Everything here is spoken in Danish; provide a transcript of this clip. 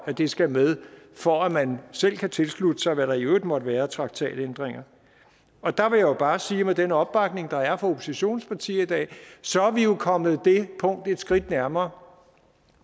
at det skal med for at man selv kan tilslutte sig hvad der i øvrigt måtte være af traktatændringer og der vil jeg bare sige med den opbakning der er fra oppositionspartierne i dag at så er vi jo kommet det punkt et skridt nærmere